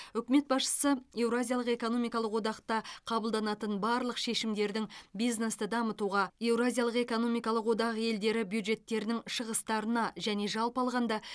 үкімет басшысы еуразиялық экономикалық одақта қабылданатын барлық шешімдердің бизнесті дамытуға еуразиялық экономикалық одақ елдері бюджеттерінің шығыстарына және жалпы алғанда